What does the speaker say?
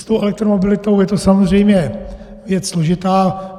S tou elektromobilitou je to samozřejmě věc složitá.